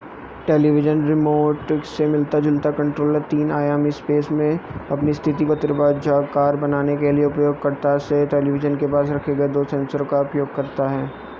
television remote से मिलता-जुलता controller तीन-आयामी स्पेस में अपनी स्थिति को त्रिभुजाकार बनाने के लिए उपयोगकर्ता के टेलीविज़न के पास रखे गए दो सेंसर का उपयोग करता है